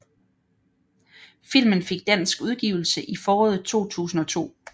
Filmen fik dansk udgivelse i foråret 2002